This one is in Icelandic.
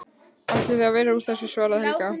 Ætli það verði úr þessu, svaraði Helga.